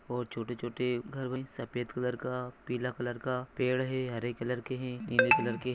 और छोटे छोटे घर बन सफ़ेद कलर का पिला कलर का पेड है हरे कलर के हैं नीले कलर के